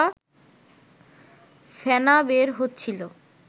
ফেনা বের হচ্ছিল